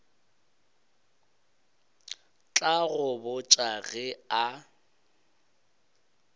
tla go botša ge a